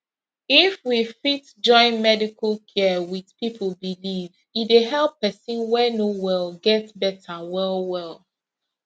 if we fit join medical care with people belief e dey help person wey no well get better wellwell